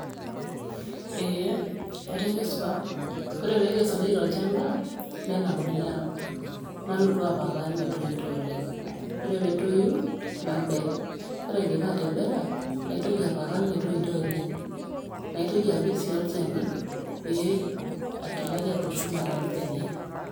Eeh atakesipa ore peekesuni tolchamba nenapuni aang nalotu apalpal metoito oleng ,orepeetoi nabel ore aidipa atebela naitoki apalpal metoito oleng, naitoki sii apik olchani eeh paatumoki atushuma torbenia.